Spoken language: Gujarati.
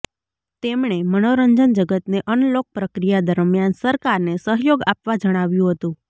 તેમણે મનોરંજન જગતને અનલોક પ્રક્રિયા દરમિયાન સરકારને સહયોગ આપવા જણાવ્યું હતું